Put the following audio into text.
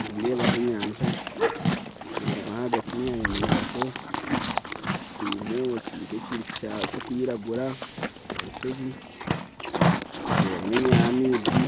Nindeebaho enyanja ndeeba ahagati y'enyanja ndeebaho ekituumo kiri nk'ekintu kirikwiragura orushozi ndeebamu amaizi